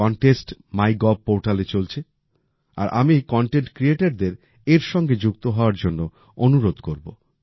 এই contest my gov পোর্টালে চলছে আর আমি কনটেন্ট ক্রিয়েটরদের এর সঙ্গে যুক্ত হওয়ার জন্য অনুরোধ করব